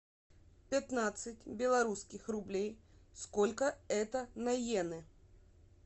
пятнадцать белорусских рублей сколько это на йены